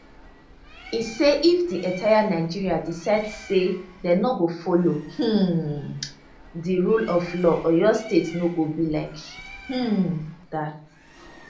e say if di entire nigeria decide say dem no go follow um di rule of law oyo state no go be like um dat